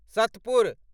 Satpur